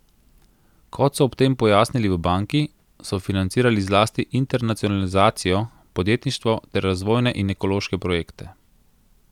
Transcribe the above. Kot so ob tem pojasnili v banki, so financirali zlasti internacionalizacijo, podjetništvo ter razvojne in ekološke projekte.